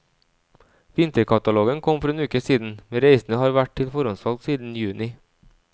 Vinterkatalogen kom for en uke siden, men reisene har vært til forhåndssalg siden juni.